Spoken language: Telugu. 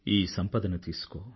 ఈ సంపదను తీసుకో